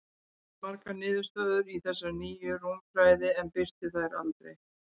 Hann sannaði margar niðurstöður í þessari nýju rúmfræði, en birti þær aldrei.